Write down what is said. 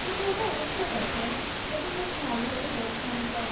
কিন্তু ওটা উঠে গেছে কিন্তু ভীষণ ভালো ছিল ওখানকার